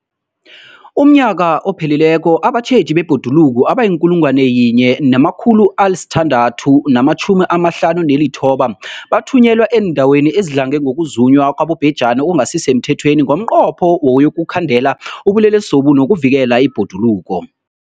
UmNnyaka ophelileko abatjheji bebhoduluko abayi-1 659 bathunyelwa eendaweni ezidlange ngokuzunywa kwabobhejani okungasi semthethweni ngomnqopho wokuyokukhandela ubulelesobu nokuvikela ibhoduluko.